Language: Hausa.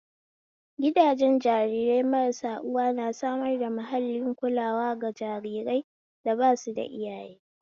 Gidajen jarirai marasa uwa na samar da mahallin kulawa ga jarirai da basuda iyaye